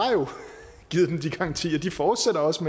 givet dem de garantier og de fortsætter også